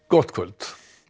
gott kvöld